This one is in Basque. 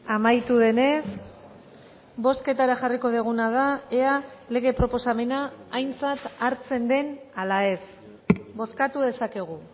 amaitu denez bozketara jarriko duguna da ea lege proposamena aintzat hartzen den ala ez bozkatu dezakegu